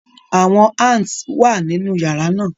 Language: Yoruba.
Awọn ants wa ninu yara naa